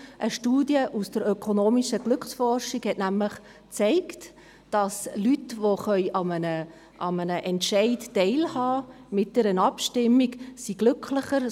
Eine Studie aus der ökonomischen Glücksforschung zeigte nämlich, dass Leute, die an einer Entscheidung teilhaben können, mit einer Abstimmung, glücklicher sind.